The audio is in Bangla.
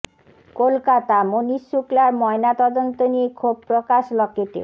কলকাতাঃ মনীশ শুক্লার ময়না তদন্ত নিয়ে ক্ষোভ প্রকাশ লকেটের